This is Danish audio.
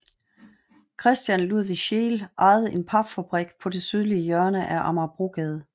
Christian Ludvig Scheel ejede en papfabrik på det sydlige hjørne af Amagerbrogade